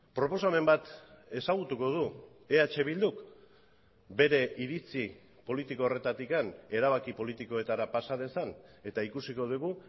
proposamen bat ezagutuko du eh bilduk bere iritzi politiko horretatik erabaki politikoetara pasa dezan eta ikusiko dugu